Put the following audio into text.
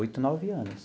Oito, nove anos.